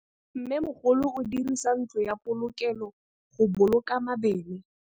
Mmêmogolô o dirisa ntlo ya polokêlô, go boloka mabele.